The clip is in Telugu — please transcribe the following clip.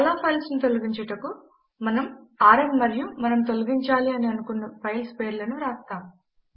చాలా ఫైల్స్ ను తొలగించుటకు మనము ఆర్ఎం మరియు మనము తొలగించాలి అని అనుకున్న ఫైల్స్ పేర్లను వ్రాస్తాము